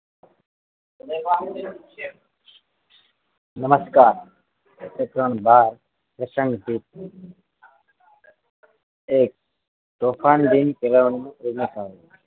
નમસ્કાર પ્રકરણ બાર Questionb એક તોફાન દિન